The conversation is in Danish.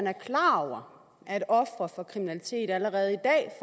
er klar over at ofre for kriminalitet allerede i dag